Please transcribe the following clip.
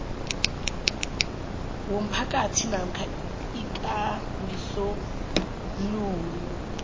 womphakathi namkha ikambisolwulo